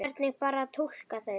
Hvernig bar að túlka þau?